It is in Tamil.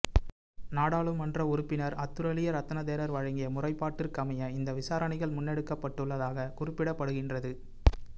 நாடாளுமன்ற உறுப்பினர் அத்துரலிய ரத்ன தேரர் வழங்கிய முறைப்பாட்டிற்கமைய இந்த விசாரணைகள் முன்னெடுக்கப்பட்டுள்ளதாக குறிப்பிடப்படுகின்றது